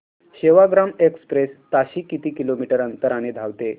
Sevagram express ताशी किती kilometre अंतराने धावते